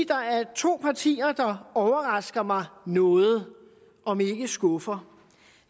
der er to partier der overrasker mig noget om ikke skuffer